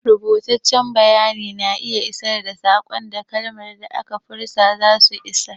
Rubutaccen bayani na iya isar da saƙon da kalaman da aka furta zasu isar.